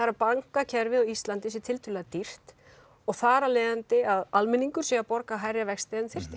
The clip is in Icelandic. að bankakerfið á Íslandi sé tiltölulega dýrt og þar af leiðandi að almenningur sé að borga hærri vexti en þyrfti